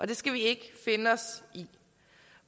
det skal vi ikke finde os i